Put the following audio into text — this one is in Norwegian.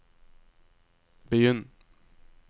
begynn